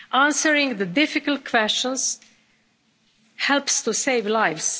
Answering the difficult questions helps to save lives.